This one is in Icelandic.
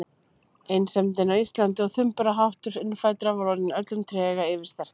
Einsemdin á Íslandi og þumbaraháttur innfæddra var orðin öllum trega yfirsterkari.